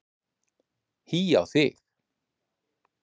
Hí á þig.